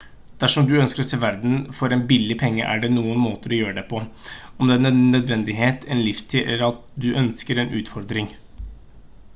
dersom du ønsker å se verden for en billig penge er det noen måter å gjøre det på om det er av nødvendighet en livsstil eller at du ønsker en utfordring